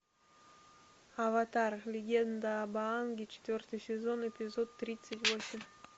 аватар легенда об аанге четвертый сезон эпизод тридцать восемь